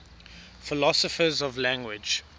philosophers of language